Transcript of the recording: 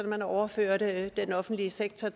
at man overførte den offentlige sektor